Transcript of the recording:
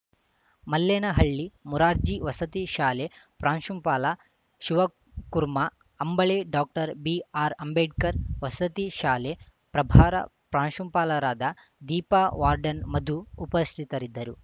ಮಲ್ಲೇನಹಳ್ಳಿ ಮುರಾರ್ಜಿ ವಸತಿ ಶಾಲೆ ಪ್ರಾಂಶುಪಾಲ ಶಿವಕುರ್ಮಾ ಅಂಬಳೆ ಡಾಕ್ಟರ್ ಬಿಆರ್‌ಅಂಬೇಡ್ಕರ್‌ ವಸತಿ ಶಾಲೆ ಪ್ರಭಾರ ಪ್ರಾಂಶುಪಾಲರಾದ ದೀಪಾ ವಾರ್ಡನ್‌ ಮಧು ಉಪಸ್ಥಿತರಿದ್ದರು